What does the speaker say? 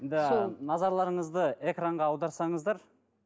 назарларыңызды экранға аударсаңыздар